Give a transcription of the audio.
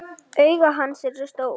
Augu hans eru stór.